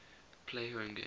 play home games